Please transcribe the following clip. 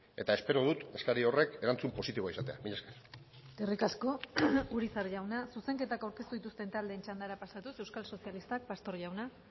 eta espero dut eskari horrek erantzun positiboa izatea mila esker eskerrik asko urizar jauna zuzenketak aurkeztu dituzten taldeen txandara pasatuz euskal sozialistak pastor jauna